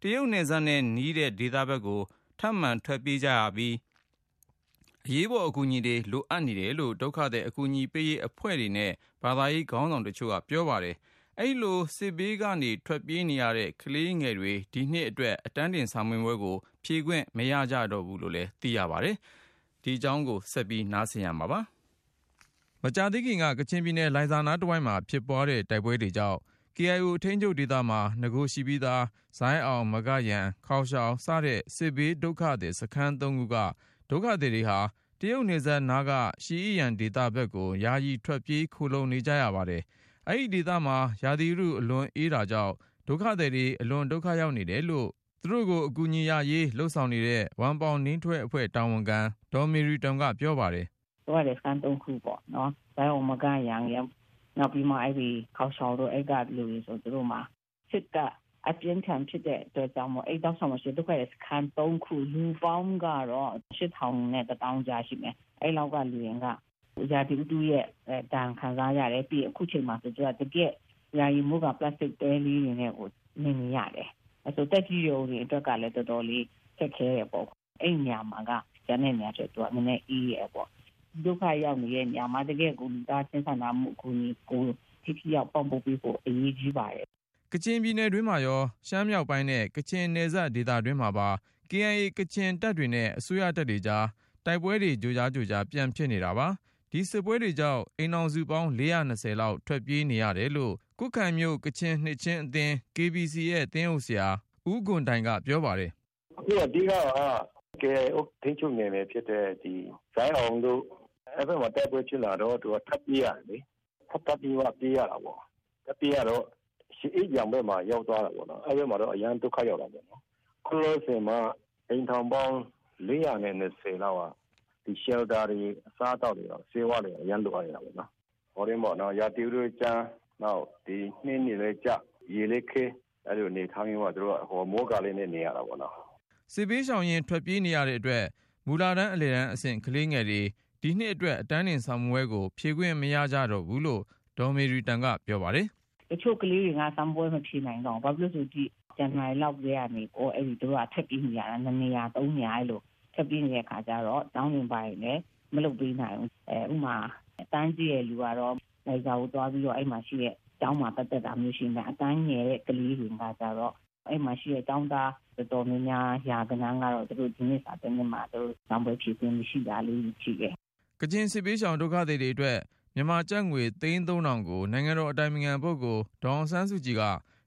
တရုတ်နယ်စပ်နဲ့ နီးတဲ့ဒေသဖက်ကို ထပ်မံထွက်ပြေးကြရပြီး အရေးပေါ် အကူအညီတွေ လိုအပ်နေတယ်လို့ ဒုက္ခသည် အကူအညီပေးရေးအဖွဲ့တွေနဲ့ ဘာသာရေးခေါင်းဆောင်တွေက ပြောပါတယ်။ အဲဒီလို စစ်ဘေးကနေ ထွက်ပြေးနေရတဲ့ ကလေးငယ်တွေ ဒီနှစ်အတွက် အတန်းတင် စာမေးပွဲကို ဖြေခွင့်မရကြတော့ဘူးလို့ ဆိုပါတယ်။ ဆက်သွယ်မေးမြန်းထားတဲ့ ကိုဉာဏ်ဝင်းအောင်က တင်ပြထားပါတယ်။ မကြာသေးခင်က ကချင်ပြည်နယ် လိုင်ဇာနားတဝိုက်မှာ ဖြစ်ပွားတဲ့ တိုက်ပွဲတွေကြောင့် KIO ထိန်းချုပ်ဒေသမှာ နဂိုရှိပြီးသား ဇိုင်းအောင်၊ မဂယမ်၊ ခေါင်ရှောင် စတဲ့ စစ်ဘေးဒုက္ခသည်စခန်း ၃ ခုက ဒုက္ခသည်တွေဟာ တရုတ်နယ်စပ်နားက ရှီအိယမ် ဒေသဖက်ကို ယာယီထွက်ပြေး ခိုလှုံနေကြရ ပါတယ်။ အဲဒီဒေသမှာ ရာသီဥတု အလွန်အေးနေတာကြောင့် ဒုက္ခသည်တွေ အလွန် ဒုက္ခရောက်နေတယ်လို့ သူတို့ အကူအညီရရေး လုပ်ဆောင်နေတဲ့ ဝမ်ပေါင်နိန်းထွဲအဖွဲ့ တာဝန်ခံ ဒေါ်မေရီတွမ်က ပြောပါတယ်။ “ဒုက္ခသည်စခန်း ၃ ခုပေါ့နော်။ ဇိုင်းအောင်၊ မဂယမ်ရယ်၊ နောက်ပြီးမှ ခေါင်ရှောင်တို့ အဲက လူတွေဆိုရင် သူတို့မှာ စစ်က အပြင်းအထန်ဖြစ်တဲ့အတွက်ကြောင့်မို့ အဲဒီတောက်လျှောက်မှာရှိတဲ့ ဒုက္ခသည်စခန်း ၃ ခုပေါင်းကတော့ ၈ ထောင်နဲ့ ၁ သောင်းကြားရှိမယ်။ အဲဒီက လူတွေက ရာသီဥတုဒဏ်လည်း ခံစားရတယ်။ အခုအချိန်မှာဆိုရင် သူတို့က တကယ့်ကို ယာယီ ပလတ်စတစ် မိုးကာတဲလေးတွေနဲ့ နေနေရတယ်။ သက်ကြီးရွယ်အိုတွေအတွက်ကလည်း တော်တော်လေး ခက်ခဲတယ်ပေါ့။ အဲဒီနေရာမှာက ကျန်တဲ့နေရာထက် သူက နည်းနည်း အေးတယ်ပေါ့။ ဒုက္ခရောက်နေတဲ့နေရာမှာ လူသားချင်းစာနာမှု အကူအညီကို ထိထိရောက်ရောက် ပံ့ပိုးပေးဖို့ အရေးကြီးပါတယ်။” ကချင်ပြည်နယ်တွင်းမှာရော ရှမ်းမြောက်ပိုင်းနဲ့ကချင် နယ်စပ်ဒေသတွေမှာပါ KIA ကချင်တပ်တွေနဲ့ အစိုးရတပ်တွေကြား တိုက်ပွဲတွေ ကြိုကြားကြိုကြား ပြန်ဖြစ်နေတာပါ။ ဒီစစ်ပွဲတွေကြောင့် အိမ်ထောင်စုပေါင်း ၄၂၀ လောက် ထွက်ပြေးနေရတယ်လို့ ကွတ်ခိုင် ကချင်နှစ်ခြင်းအသင်း KBC ရဲ့သင်းအုပ်ဆရာ ဦးဂွန်တိုင်က ပြောပါတယ်။ “အဓိကက KIO ထိန်းချုပ်နယ်မြေဖြစ်တဲ့ ဇိုင်းအောင်တို့ အဲဒီဘက်မှာ တိုက်ပွဲဖြစ်လာတော့ သူတို့က ထွက်ပြေးရတယ်လေ။ ထွက်ပြေးရတော့ ရှီအိယမ် ဘက် ရောက်သွားတယ်ပေါ့နော်။ အဲဒီဘက်မှာကတော့ အရမ်းကို ဒုက္ခရောက်တာပေါ့။ အခု လောလောဆယ်မှာ အိမ်ထောင်ပေါင်း ၄၂၀ လောက်က မိုးကဲတဲတွေ၊ အစားအသောက်တွေ၊ ဆေးဝါးတွေ အရမ်းကို လိုအပ်နေတာပေါ့နော်။ ရာသီဥတုကလည်း ကြမ်း၊ နှင်းတွေကလည်းကျ၊ ရေလည်းခဲ အဲ့လိုအနေအထားမှာ သူတို့က မိုးကာလေးနဲ့ နေရတာပေါ့နော်။” စစ်ဘေးရှောင်ရင်း ထွက်ပြေးနေရတဲ့အတွက် မူလတန်း အလယ်တန်းအဆင့် ကလေးငယ်တွေ ဒီနှစ်အတွက် အတန်းတင်စာမေးပွဲကို ဖြေခွင့်မရကြ တော့ဘူးလို့ ဒေါ်မေရီတွမ်က ပြောပါတယ်။ “တချို့ကလေးတွေက စာမေးပွဲ မဖြေနိုင်တော့ဘူး။ ဘာဖြစ်လို့လဲဆိုတော့ ဇန်နဝါရီလောက်ကတည်းကနေ သူတို့က ထွက်ပြေးနေရတာ။ နှစ်နေရာ၊ သုံးနေရာ အဲ့ဒီလို ထွက်ပြေးနေတဲ့ အခါကျတော့ ကျောင်းတွေ ဘာတွေလည်း မလုပ်ပေးနိုင်ဘူး။ ဥပမာ အတန်းကြီးတဲ့လူကတော့ လိုင်ဇာကိုသွားပြီးတော့ အဲဒီမှာရှိတဲ့ ကျောင်းမှာ သွားတက်တာမျိုးရှိတယ်။ အတန်းငယ်တဲ့ ကလေးတွေကျတော့ အဲဒီမှာရှိတဲ့ ကျောင်းသား တော်တော်များများ ရာဂဏန်းကတော့ ဒီနှစ်စာမေးပွဲမှာ သူတို့ စာမေးပွဲ ဖြေခွင့် မရှိတာလေးတွေရှိပါတယ်။” ကချင်စစ်ဘေးရှောင် ဒုက္ခသည်တွေအတွက် မြန်မာကျပ်ငွေ သိန်း ၃၀၀၀-ကို နိုင်ငံတော်အတိုင်ပင်ခံပုဂ္ဂိုလ် ဒေါ်အောင်ဆန်းစုကြည်က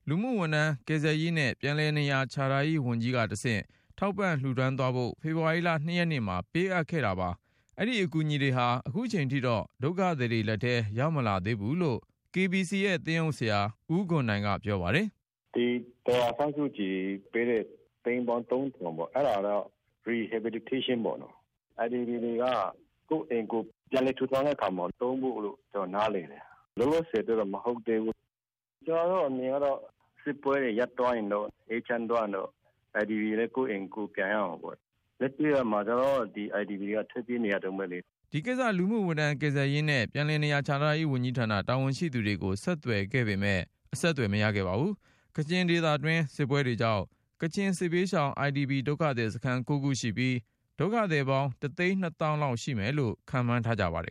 လူမှုဝန်ထမ်း၊ ကယ်ဆယ်ရေးနဲ့ ပြန်လည်နေရာ ချထားရေးဝန်ကြီးကတဆင့် ထောက်ပံ့လှူဒါန်းသွားဖို့ ဖေဖေါ်ဝါရီ ၂ ရက်နေ့မှာပေးအပ်ခဲ့ပါတယ်။ အဲဒီအကူအညီ တွေဟာ အခုချိန်ထိတော့ ဒုက္ခသည်တွေလက်ထဲ ရောက်မလာသေးဘူးလို့ KBC ရဲ့သင်းအုပ်ဆရာ ဦးဂွန်တိုင်က ပြောပါတယ်။ “ဒေါ်အောင်ဆန်းစုကြည်ပေးတဲ့ သိန်းပေါင်း ၃ ထောင်က IDP တွေက ကိုယ့်အိမ်ကိုယ် ပြန်လည် ထူထောင်တဲ့နေရာမှာ သုံးဖို့လို့ ကျနော် နားလည်တယ်။ လောလောဆယ်အတွက်တော့ မဟုတ်သေးဘူး။ ကျနော်တို့အမြင်ကတော့ စစ်ပွဲတွေ ရပ်သွားရင်တော့ အေးချမ်းသွားရင်တော့ IDP တွေလည်း ကိုယ့်အိမ်ကိုယ် ပြန်ရမှာပေ့ါ။ လက်တွေ့မှာ ကျနော်တို့ IDP တွေက ထွက်ပြေးနေရတုန်းပဲလေ။” ဒီကိစ္စ လူမှုဝန်ထမ်း၊ ကယ်ဆယ်ရေးနဲ့ ပြန်လည်နေရာ ချထားရေးဝန်ကြီးဌာန တာဝန်ရှိသူတွေကို ဆက်သွယ်ခဲ့ပေမယ့် အဆက်သွယ် မရခဲ့ပါဘူး။ ကချင်ဒေသတွင်း စစ်ပွဲတွေကြောင့် ကချင်စစ်ဘေးရှောင် IDP ဒုက္ခသည်စခန်း ၉ ခုရှိပြီး၊ ဒုက္ခသည်ပေါင်း ၁ သိန်း ၂ သောင်းကျော် ရှိတယ်လို့ ခန့်မှန်းထားကြပါတယ်